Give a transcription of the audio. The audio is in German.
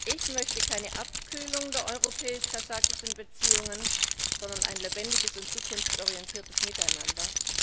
Ich möchte keine Abkühlung der europäisch kasachischen Beziehungen, sondern ein lebendiges und zukunftsorientiertes Miteinander.